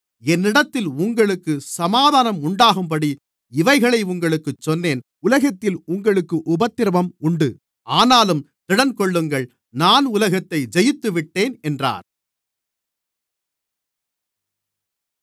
என்னிடத்தில் உங்களுக்குச் சமாதானம் உண்டாகும்படி இவைகளை உங்களுக்குச் சொன்னேன் உலகத்தில் உங்களுக்கு உபத்திரவம் உண்டு ஆனாலும் திடன்கொள்ளுங்கள் நான் உலகத்தை ஜெயித்துவிட்டேன் என்றார்